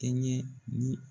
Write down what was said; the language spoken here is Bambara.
tɛ n ye ni